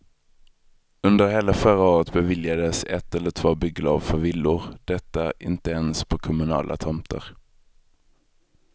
Under hela förra året beviljades ett eller två bygglov för villor, detta inte ens på kommunala tomter.